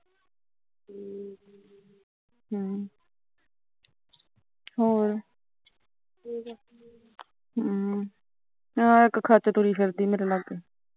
ਹੋਰ ਵਧੀਆ ਹਾਂ ਇੱਕ ਖਚ ਤੁਰੀ ਫਿਰਦੀ ਮੇਰੇ ਲਾਗੇ